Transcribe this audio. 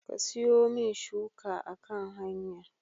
Ka siyomin shuka a kan hanya